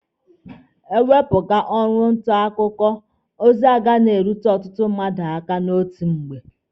E wepụ ọrụ nta akụkọ, ozi agaghị na-erute ọtụtụ mmadụ aka n'otu mgbe.